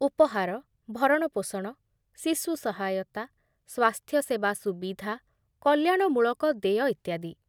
ଉପହାର, ଭରଣପୋଷଣ, ଶିଶୁ ସହାୟତା, ସ୍ୱାସ୍ଥ୍ୟସେବା ସୁବିଧା, କଲ୍ୟାଣମୂଳକ ଦେୟ ଇତ୍ୟାଦି।